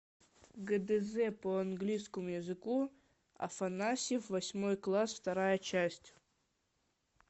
гдз по английскому языку афанасьев восьмой класс вторая часть